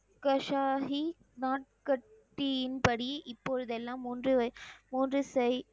கஷாஹி நாட்கத்தியின்படி இப்பொழுதெல்லாம் மூன்று வய், மூன்று செய்,